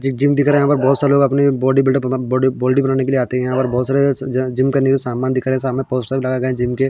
एक जिम दिख रहा है यहाँ पर बोहोत सारे लोग अपने बॉडी बिल्डिंग तथा बॉडी बॉडी बनाने के लिए आते है और बोहोत सारे ज जिम करने के लिए सामान दिख रहे सामान बोहोत सारे लगाए जिम के।